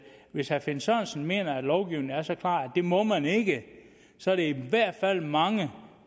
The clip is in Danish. hvis herre finn sørensen mener at lovgivningen er så klar at det må man ikke så er der i hvert fald mange